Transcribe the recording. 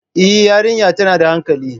Eh, yariya tana da hankali